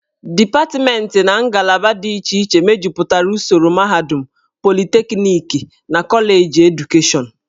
Dipatmentị na ngalaba dị iche iche mejupụtara usoro mahadum, politekniki na koleji edukashọnụ.